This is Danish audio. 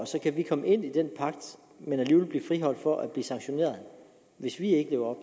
så kan vi komme ind i den pagt men alligevel blive friholdt for sanktioner hvis vi ikke lever